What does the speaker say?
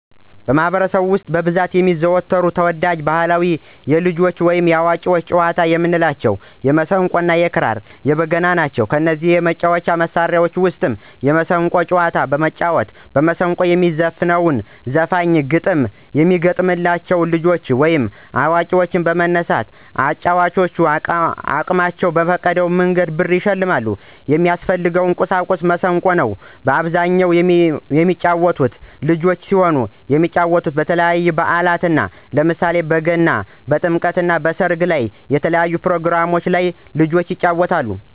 በማህበረሰቡ ውስጥ በብዛት የሚዘወተሩ ተወዳጅ ባህላዊ የልጆች ወይም የአዋቂዎች ጨዋታዎች የምንላቸው 1 የማሲንቆ 2 ክራር 3 በገና ናቸው። ከነዚህ የመጫወቻ መሣሪያዎች ውስጥ የማሲንቆን ጨዋታዎች በመጫወት በማስንቆ ለሚዘፍነው ዘፋኞች ግጥም የሚገጠምላ ልጆች ወይም አዋቂዎች በመነሳት ለአጫዋቹ አቅማቸውን የፈቀደውን ብር ይሸልማሉ። የሚያስፈልገው ቁሳቁስ ማሲንቆ ነው። በአብዛኛው የሚጫወተው ልጆች ሲሆኑ የሚጫወቱት በተለያዩ በአላት ነው። ለምሳሌ በገና፣ በጥምቀት፣ በሰርግ እና በተለያዩ ፕሮግራሞች ላይ ልጆች ይጫወታሉ።